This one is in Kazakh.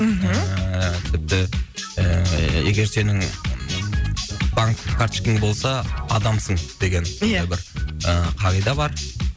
мхм ііі тіпті ііі егер сенің банктік карточкең болса адамсың деген ия сондай бір і қағида бар